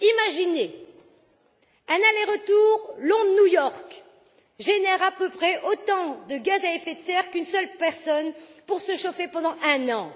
Imaginez qu'un aller retour Londres New York génère à peu près autant de gaz à effet de serre qu'une seule personne pour se chauffer pendant un an.